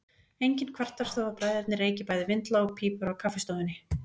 Enginn kvartar þó að bræðurnir reyki bæði vindla og pípur á kaffistofunni.